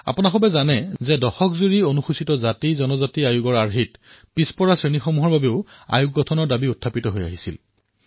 আপোনালোকে জানে যে এছচিএছটি আয়োগৰ অধীনত অবিচি আয়োগো গঠন কৰাৰ দাবী উত্থাপিত হৈছিল